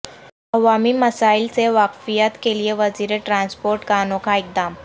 عوامی مسائل سے واقفیت کیلئے وزیر ٹرانسپورٹ کا انوکھا اقدام